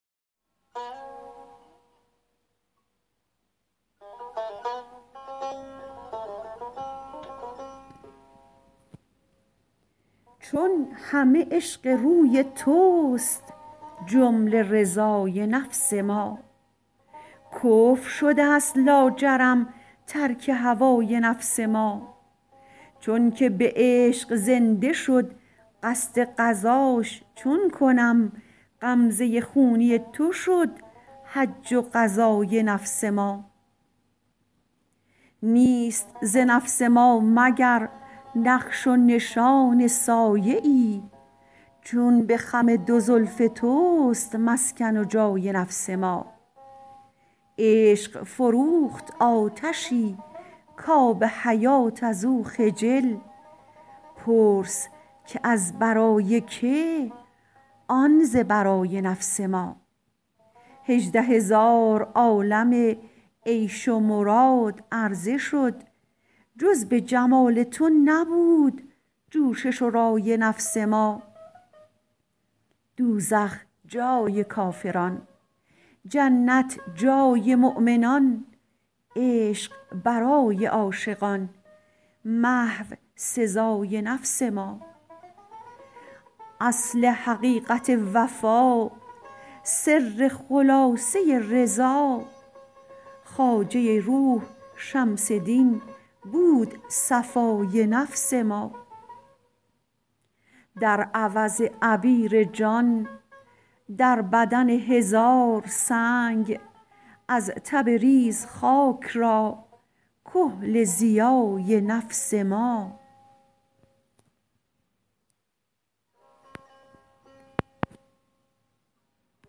چون همه عشق روی تست جمله رضای نفس ما کفر شده ست لاجرم ترک هوای نفس ما چونکه به عشق زنده شد قصد غزاش چون کنم غمزه خونی تو شد حج و غزای نفس ما نیست ز نفس ما مگر نقش و نشان سایه ای چون به خم دو زلف تست مسکن و جای نفس ما عشق فروخت آتشی کآب حیات از او خجل پرس که از برای که آن ز برای نفس ما هژده هزار عالم عیش و مراد عرضه شد جز به جمال تو نبود جوشش و رای نفس ما دوزخ جای کافران جنت جای مؤمنان عشق برای عاشقان محو سزای نفس ما اصل حقیقت وفا سر خلاصه رضا خواجه روح شمس دین بود صفای نفس ما در عوض عبیر جان در بدن هزار سنگ از تبریز خاک را کحل ضیای نفس ما